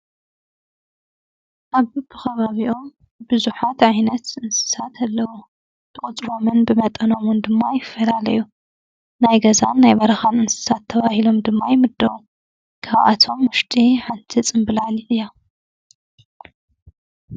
ኣብ በቢ ከባቢኦም ብዙሓት ዓይነት እንስሳት ኣለው ።ብቁፅሮምን ብመጠኖምን ድማ ይፈላለዩ ናይ ገዛን ናይ በረኻን እንስሳት ተባሂሎም ድማ ይምደቡ ካብኣቶም ዉሽጢ ሓንቲ ፅምብላሊዕ እያ ።